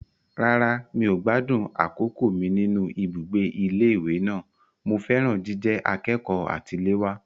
Rárá, mi ò gbádùn àkókò mi nínú ibùgbé ilé ìwé náà. Mo fẹ́ràn jíjẹ akẹ́kọ̀ọ́ àtiléwá.